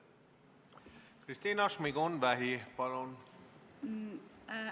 Kristina Šmigun-Vähi, palun!